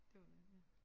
Det må det være ja